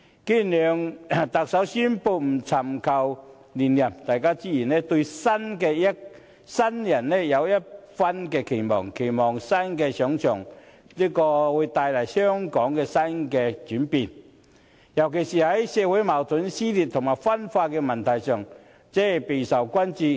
既然梁特首宣布不尋求連任，大家自然對新人有一番期望，期望新人上場後會為香港帶來一些新的轉變，而社會矛盾、撕裂和分化的問題，尤其備受關注。